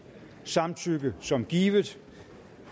samtykke som givet